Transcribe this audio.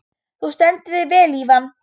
Þú stendur þig vel, Ívan!